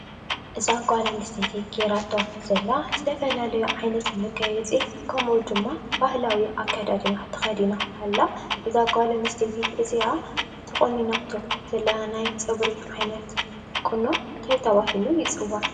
እዛ ጓል ኣንስተይቲ ጌራቶ ዘላ ዝተፈላለዩ ዓይነት መጋየፂ ከምኡ ድማ ባህላዊ ኣከዳድና ተኸዲና ኣላ። እዛ ጓል ኣንስተይቲ እዚኣ ተቆኒናቶ ዘላ ናይ ፀጉሪ ዓይነት ቁኖ እንታይ ተባሂሉ ይዕዋዕ?